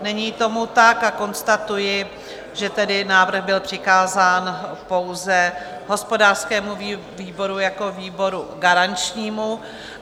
Není tomu tak a konstatuji, že tedy návrh byl přikázán pouze hospodářskému výboru jako výboru garančnímu.